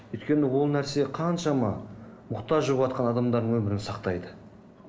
өйткені ол нәрсе қаншама мұқтаж болыватқан адамдардың өмірін сақтайды